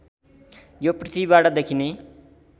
यो पृथ्वीबाट देखिने